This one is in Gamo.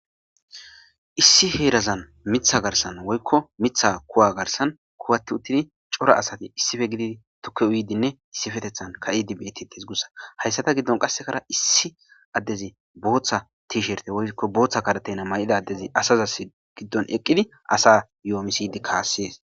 issi heerazan mitha garsan woykko mitha kuwa garsan kuwatti uttidi cora asati issife gidi tukke uydinne Issifetethan ka'idi bietites gussa hayssata giddon qassekara issi addezi booththa tiisherte woykko booththa kadeteyna may'idadezi asazas giddon eqqidi asa yoomisidi kaassees.